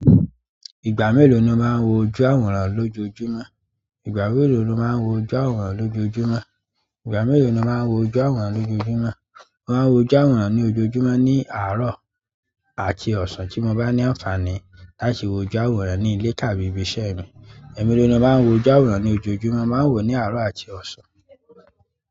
Ìgbà mélòó ni o máa ń wo ojú-aworan lójoojúmọ́? Ìgbà mélòó lo máa ń wo ojú ojúàwòrán lójoojúmọ́? Ìgbà mélòó ni o máa ń wo ojúàwòrán lójoojúmọ́? Mo máa ń wo ojúàwòrán ní ojoojúmọ́ ní àárọ̀ àti ọ̀sán. Ti mo bá ní àǹfààní ni láti wo ojúàwòrán ní ile tàbí ibi iṣẹ́ mi. Ẹ̀ mélòó ni o máa ń wo ojú ojúàwòrán ní ojoojúmọ́? Mo máa ń wo ní àárọ̀ àti ọ̀sán.